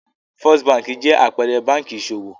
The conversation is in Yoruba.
First Báńkì jẹ́ àpẹẹrẹ báńkì ìṣòwò.